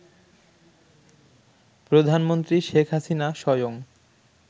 প্রধানমন্ত্রী শেখ হাসিনা স্বয়ং